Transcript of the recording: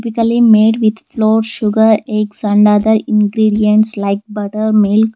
made with floor sugar eggs and other ingredients like butter milk --